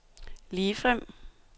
ligefrem